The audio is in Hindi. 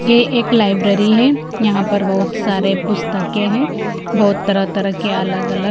ये एक लाइब्रेरी है यहाँ पर बहुत सारे पुस्तकें हैं बहुत तरह-तरह के अलग-अलग--